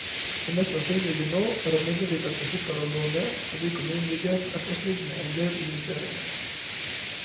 Det mest sannsynlige nå er imidlertid at vi slipper å låne fordi kommunen ligger på etterskudd med endel investeringer.